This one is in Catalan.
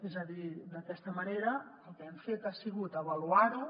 és a dir d’aquesta manera el que hem fet ha sigut avaluar ho